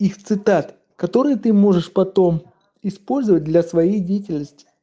их цитат которые ты можешь потом использовать для своей деятельности